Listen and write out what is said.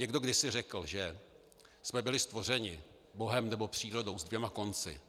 Někdo kdysi řekl, že jsme byli stvořeni Bohem, nebo přírodou, s dvěma konci.